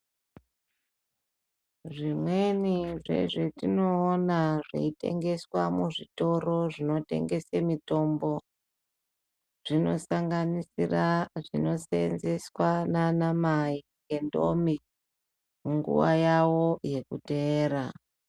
Zvimweni zvezvatinoona zveitengeswa muzvitoro zvinotengese mitombo. Zvinosanganisira zvinosenzeswa nana mai ngendombi munguva yawo yekuteera.